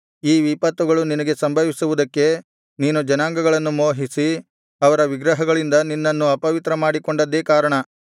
ಈ ವಿಪತ್ತುಗಳು ನಿನಗೆ ಸಂಭವಿಸುವುದಕ್ಕೆ ನೀನು ಜನಾಂಗಗಳನ್ನು ಮೋಹಿಸಿ ಅವರ ವಿಗ್ರಹಗಳಿಂದ ನಿನ್ನನ್ನು ಅಪವಿತ್ರ ಮಾಡಿಕೊಂಡದ್ದೇ ಕಾರಣ